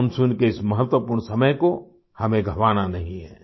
monsoon के इस महत्वपूर्ण समय को हमें गंवाना नहीं है